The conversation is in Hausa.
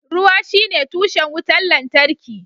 Ruwa shine tushen wutar lantarki